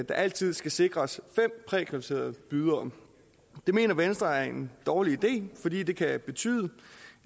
altid skal sikres fem prækvalificerede bydere det mener venstre er en dårlig idé fordi det kan betyde